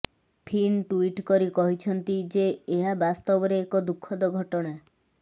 Fin tweet କରି କହିଛନ୍ତି ଯେ ଏହା ବାସ୍ତବରେ ଏକ ଦୁଃଖଦ ଘଟଣା